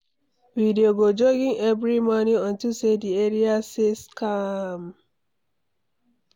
We dey go jogging every morning unto say the area sey calm.